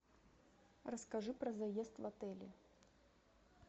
расскажи про заезд в отеле